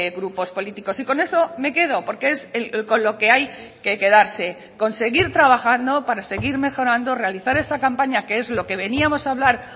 grupos políticos y con eso me quedo porque es con lo que hay que quedarse con seguir trabajando para seguir mejorando realizare esa campaña que es lo que veníamos a hablar